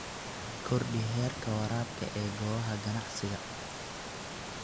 Kordhi heerka waraabka ee goobaha ganacsiga.